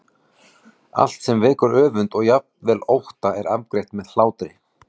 Allt sem vekur öfund og jafnvel ótta er afgreitt með hlátri.